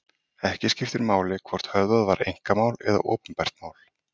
Ekki skiptir máli hvort höfðað var einkamál eða opinbert mál.